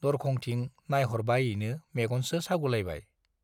दरखंथिं नायहरबायैनो मेगनसो सागुलायबाय।